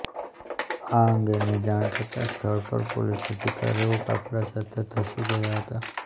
આ અંગેની જાણ થતાં સ્થળ પર પોલીસ અધિકારીઓ કાફલા સાથે ધસી ગયા હતા